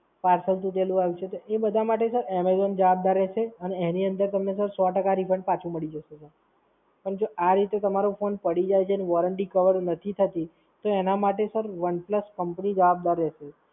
parcel તૂટેલું આયુ છે. તો એ બધાં માટે Sir Amazon જવાબદાર રહેશે અને એની અંદર તમને Sir સૌ ટકા Refund પાછું મળી જશે Sir પણ જો આ રીતે તમારો ફોન પડી જાય છે, ને Warranty કવર નથી થતી, તો એના માટે Sir One Plus Company જવાબદાર રહેશે.